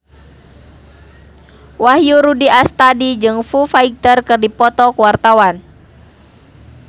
Wahyu Rudi Astadi jeung Foo Fighter keur dipoto ku wartawan